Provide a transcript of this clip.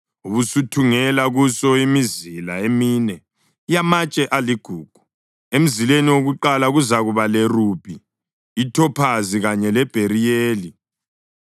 Ubusuthungela kuso imizila emine yamatshe aligugu. Emzileni wakuqala kuzakuba lerubhi, ithophazi kanye lebheriyeli,